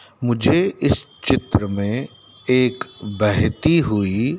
मुझे इस चित्र में एक बहती हुई--